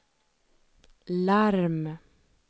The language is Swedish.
larm